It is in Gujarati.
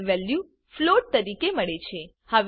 આપણને વેલ્યુ ફ્લોટ તરીકે મળે છે